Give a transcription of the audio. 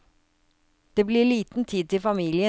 Det blir liten tid til familien.